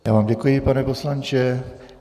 Já vám děkuji, pane poslanče.